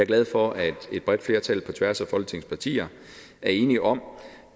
glad for at et bredt flertal på tværs af folketingets partier er enige om